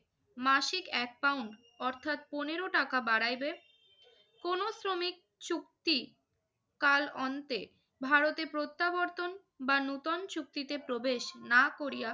মাসিক এক পাউন্ড অর্থাৎ পনেরো টাকা বাড়াইবে। কোনো শ্রমিক চুক্তিকাল অন্তে ভারতে প্রত্যাবর্তন বা নতুন চুক্তিতে প্রবেশ না করিয়া